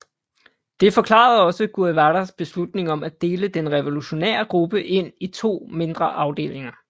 Det forklarede også Guevaras beslutning om at dele den revolutionære gruppe ind i to mindre afdelinger